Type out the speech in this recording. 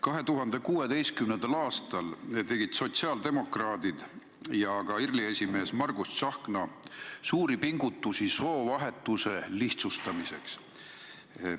2016. aastal tegid sotsiaaldemokraadid ja ka IRL-i esimees Margus Tsahkna suuri pingutusi soovahetuse lihtsustamiseks.